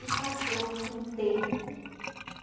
e passou-se um tempo.